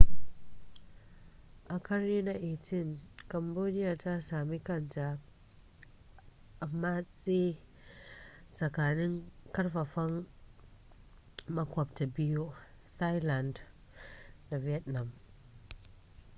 a ƙarni na 18 cambodia ta sami kanta a matse tsakanin karfafan maƙwabta biyu thailand da vietnam